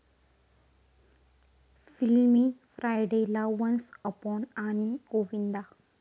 फिल्मी फ्रायडे'ला, 'once upon' आणि 'गोविंदा'